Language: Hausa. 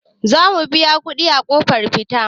Za mu biya kuɗi a ƙofar fita.